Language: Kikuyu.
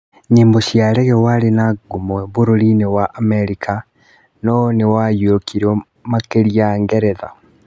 Nyĩmbo cia Reggea warĩ na ngumo bũrũri-inĩ wa Amerika no nĩwaiyũkirio makĩria Ngeretha